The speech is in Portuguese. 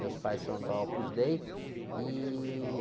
Meus pais são da Opus Dei, e...